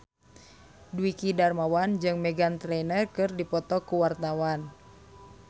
Dwiki Darmawan jeung Meghan Trainor keur dipoto ku wartawan